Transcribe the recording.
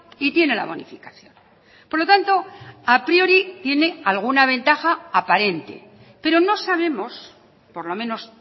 y tiene la bonificación por lo tanto a priori tiene alguna ventaja aparente pero no sabemos por lo menos